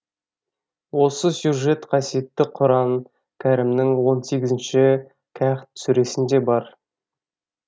осы сюжет қасиетті құран кәрімнің он сегізінші кәхф сүресінде бар